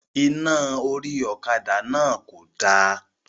Iná orí ọ̀kadà náà kò da